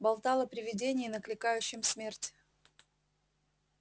болтал о привидении накликающем смерть